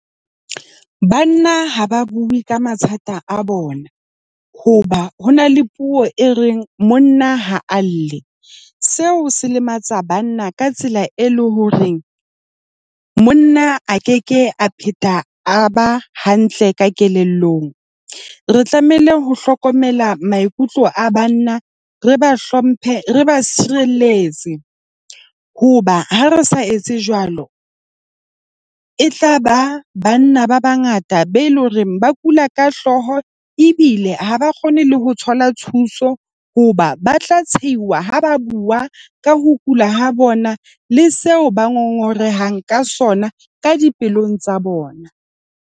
Banna ha ba bue ka mathata a bona hoba ho na le puo e reng monna ha a lle, seo se lematsa banna ka tsela e leng hore monna a ke ke a phetha a ba hantle ka kelellong. Re tlamehile ho hlokomela maikutlo a banna. Re ba hlomphe, re ba sirelletse hoba ha re sa etse jwalo, e tla ba banna ba bangata be le hore ba kula ka hlooho ebile ha ba kgone le ho thola thuso hoba ba tla ha ba bua ka ho kula ha bona, le seo ba ngongoreha ka sona ka dipelong tsa bona.